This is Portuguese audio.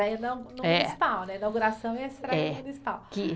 A inauguração e a estreia municipal.